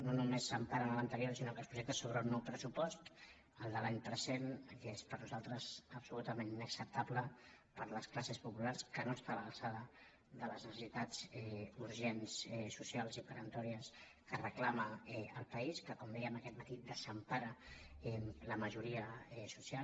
no només s’em·para en l’anterior sinó que es projecta sobre un nou pressupost el de l’any present que és per nosaltres absolutament inacceptable per a les classes populars que no està a l’alçada de les necessitats urgents socials i peremptòries que reclama el país que com dèiem aquest matí desempara la majoria social